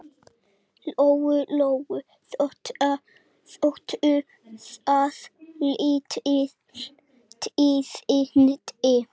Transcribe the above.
Lóu-Lóu þóttu það lítil tíðindi.